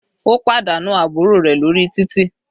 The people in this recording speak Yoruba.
Ó pàdánù àbúrò rẹ̀ lórí títì.